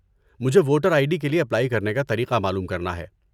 مجھے voter I D کے لیے اپلائی کرنے کا طریقہ معلوم کرنا ہے۔